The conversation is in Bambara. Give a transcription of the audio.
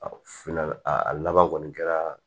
A finna a laban kɔni kɛra